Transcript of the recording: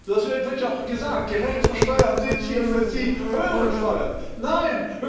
Das wird ja auch gesagt Gerechtere Steuern sind hier für Sie höhere Steuern. Nein!